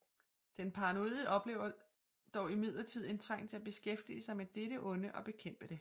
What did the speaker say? Den paranoide oplever dog imidlertid en trang til at beskæftige sig med dette onde og bekæmpe det